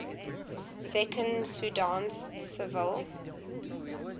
second sudanese civil